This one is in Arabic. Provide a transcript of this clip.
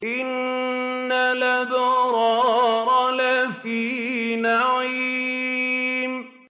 إِنَّ الْأَبْرَارَ لَفِي نَعِيمٍ